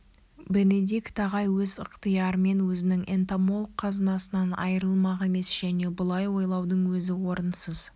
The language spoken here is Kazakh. бенедикт ағай өз ықтиярымен өзінің энтомолог қазынасынан айрылмақ емес және бұлай ойлаудың өзі орынсыз